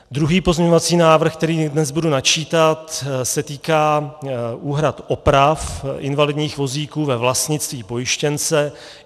Druhý pozměňovací návrh, který dnes budu načítat, se týká úhrad oprav invalidních vozíků ve vlastnictví pojištěnce.